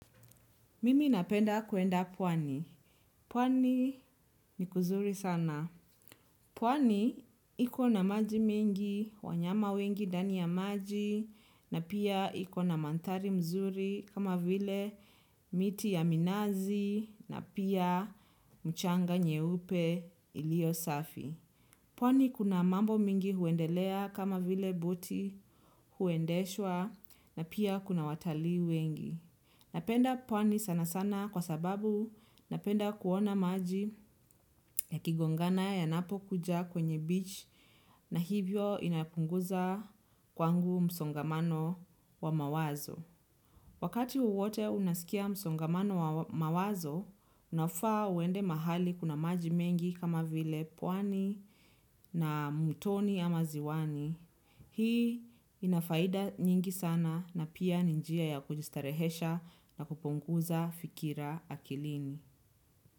Mimi napenda kwenda pwani. Pwani ni kuzuri sana. Pwani iko na maji mengi, wanyama wengi ndani ya maji na pia iko na mandhari nzuri kama vile miti ya minazi na pia mchanga nyeupe iliyosafi. Pwani kuna mambo mingi huendelea kama vile boti kuendeshwa na pia kuna watalii wengi. Napenda pwani sana sana kwa sababu napenda kuona maji yakigongana yanapo kuja kwenye beach na hivyo inapunguza kwangu msongamano wa mawazo. Wakati wowote unasikia msongamano wa mawazo, unafaa uende mahali kuna maji mengi kama vile pwani na mtoni ama ziwani. Hii inafaida nyingi sana na pia ni njia ya kujistarehesha na kupunguza fikra akilini.